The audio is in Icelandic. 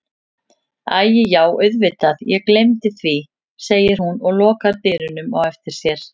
Æi já auðvitað ég gleymdi því, segir hún og lokar dyrunum á eftir sér.